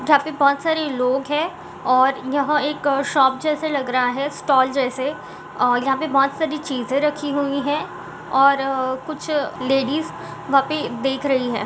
यहाँ पे बोहत सारे लोग हैं और यहाँ एक शॉप जैसे लग रहा है स्टाल जैसे आ यहाँ पे बोहत सारी चीज़ें रखी हुई हैं और कुछ लेडीज वहाँ पे देख रही है।